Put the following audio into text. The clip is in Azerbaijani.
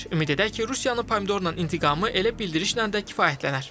Ümid edək ki, Rusiyanın pomidorla intiqamı elə bildirişlə də kifayətlənər.